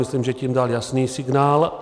Myslím, že tím dal jasný signál.